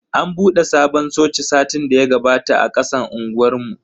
An bude sabon coci satin daya gabata a kasan unguwar mu.